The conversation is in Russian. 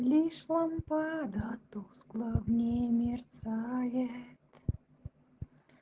лишь лампада тускло в ней мерцает